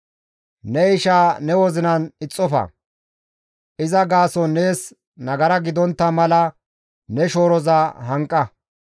« ‹Ne isha ne wozinan ixxofa; iza gaason nees nagara gidontta mala ne shooroza hanqa.